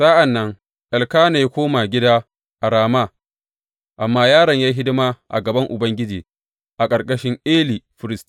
Sa’an nan, Elkana ya koma gida a Rama amma yaron ya yi hidima a gaban Ubangiji a ƙarƙashin Eli firist.